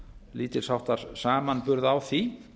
lítils háttar samanburð á því